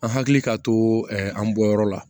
An hakili ka to ɛ an bɔyɔrɔ la